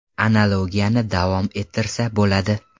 Analogiyani davom ettirsa bo‘ladi.